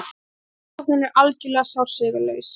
Rannsóknin er algerlega sársaukalaus.